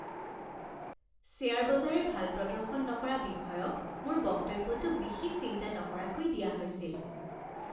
Share বজাৰে ভাল প্ৰদৰ্শন নকৰা বিষয়ক মোৰ বক্তব্যটো বিশেষ চিন্তা নকৰাকৈ দিয়া হৈছিল।